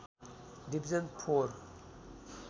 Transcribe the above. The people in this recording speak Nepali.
division four